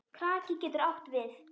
Kraki getur átt við